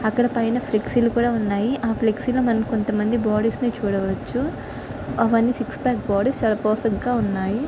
అక్కడ పైన ఫ్లెక్స్ కూడా ఉన్నాయి. ఆ ఫ్లెక్స్ లో మనం కొంత మంది బాడీస్ ని చూడవచ్చు. అవి అన్ని సిక్సపెక్ బాడీస్ . చాలా పర్ఫెక్ట్ గా ఉన్నాయి.